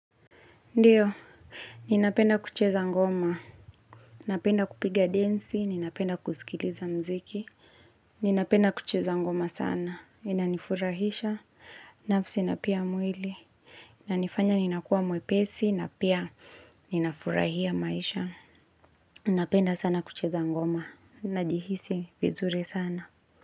Ndiyo, ninapenda kucheza ngoma. Napenda kupiga densi, ninapenda kusikiliza mziki. Ninapenda kucheza ngoma sana, inanifurahisha, nafsi na pia mwili. Inanifanya ninakuwa mwepesi, na pia ninafurahia maisha. Napenda sana kucheza ngoma, najihisi vizuri sana.